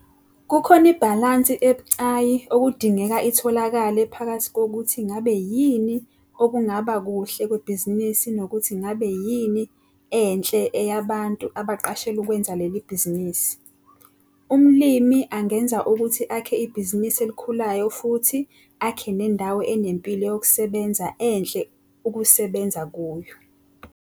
Kukhona ibhalansi ebucayi okudingeka itholakale phakathi kokuthi ngabe yini okungaba kuhle kwebhizinisi nokuthi ngabe yini enhle eyabantu abaqashelwe ukwenza leli bhizinisi. Umlimi angenza ukuthi akhe ibhizinisi elikhulayo futhi akhe nendawo enempilo yokusebenza enhle ukusebenza kuyo.